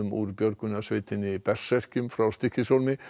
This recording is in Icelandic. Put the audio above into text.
úr björgunarsveitinni frá Stykkishólmi